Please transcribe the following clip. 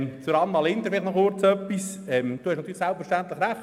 Noch etwas zu Grossrätin Linder: Sie haben selbstverständlich recht: